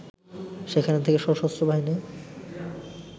সেখান থেকে সশস্ত্র বাহিনী